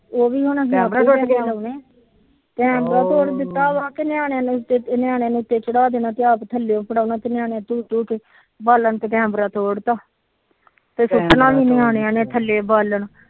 ਉਹ ਵੀ ਹੁਣ ਕੈਮਰਾ ਤੋੜ ਦਿੱਤਾ ਨਿਆਣਿਆ ਨੂੰ ਨਿਆਣਿਆ ਨੂੰ ਉਤੇ ਚੜਾ ਦੇਣਾ ਤੇ ਆਪ ਥਲੇ ਬਾਲਣ ਕੈਮਰਾ ਤੋੜ ਤਾ ਫਿਰ ਸੁਟਣਾ ਵੀ ਨਿਆਨਿਆ ਨੇ ਥੱਲੇ ਬਾਲਣ